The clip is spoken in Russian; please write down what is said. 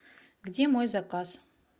где мой заказ